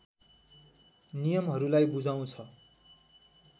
नियमहरूलाई बुझाउँछ